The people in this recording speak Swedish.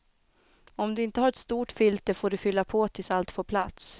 Om du inte har ett stort filter får du fylla på tills allt får plats.